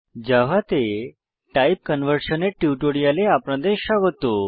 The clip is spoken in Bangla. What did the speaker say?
জাভাতে টাইপ কনভারশন টাইপ কনভার্সন এর কথ্য টিউটোরিয়ালে আপনাদের স্বাগত